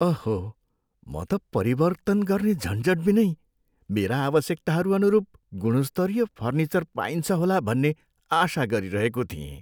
अहो! म त परिवर्तन गर्ने झन्झट बिनै मेरा आवश्यकताहरू अनुरूप गुणस्तरीय फर्निचर पाइन्छ होला भन्ने आशा गरिरहेको थिएँ।